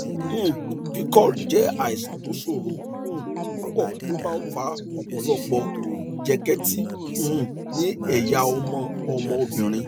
um pcod jẹ àìsàn tó ṣòro um púpọ ó máa ń fa ọpọlọpọ jẹkẹtì um ní ẹyà ọmọ ọmọ obìnrin